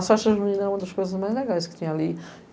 Então as festas junina eram uma das coisas mais legais que tinha ali.